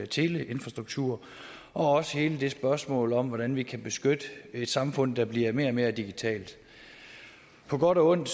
teleinfrastruktur og også hele spørgsmålet om hvordan vi kan beskytte et samfund der bliver mere og mere digitalt på godt og ondt